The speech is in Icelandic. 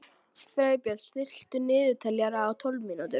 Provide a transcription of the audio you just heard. Freybjörn, stilltu niðurteljara á tólf mínútur.